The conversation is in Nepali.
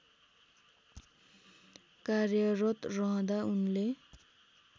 कार्यरत रहँदा उनले